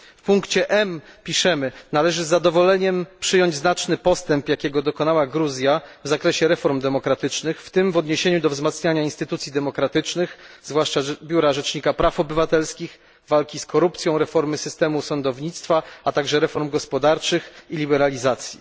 W punkcie M preambuły piszemy należy z zadowoleniem przyjąć znaczny postęp, jakiego dokonała Gruzja w zakresie reform demokratycznych, w tym w odniesieniu do wzmacniania instytucji demokratycznych, zwłaszcza biura rzecznika praw obywatelskich, walki z korupcją, reformy systemu sądownictwa, a także reform gospodarczych i liberalizacji